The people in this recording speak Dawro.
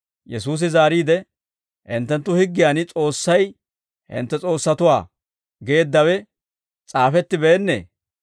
Yesuusi zaariide, «Hinttenttu higgiyan S'oossay, ‹Hintte s'oossatuwaa› geeddawe s'aafettibeennee?